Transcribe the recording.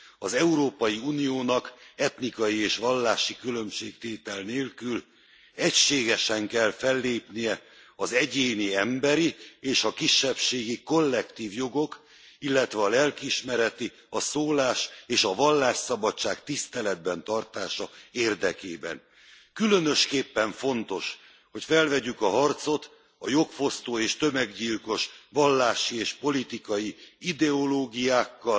Az Európai Uniónak etnikai és vallási különbségtétel nélkül egységesen kell fellépnie az egyéni emberi és a kisebbségi kollektív jogok, illetve a lelkiismeret a szólás és a vallásszabadság tiszteletben tartása érdekében. Különösképpen fontos, hogy felvegyük a harcot a jogfosztó és tömeggyilkos vallási és politikai ideológiákkal,